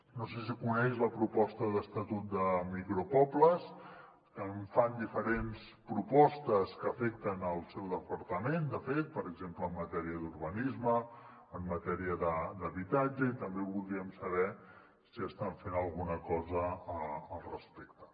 no sé si coneix la proposta d’estatut de micropobles fan diferents propostes que afecten el seu departament de fet per exemple en matèria d’urbanisme en matèria d’habitatge i també voldríem saber si estan fent alguna cosa al respecte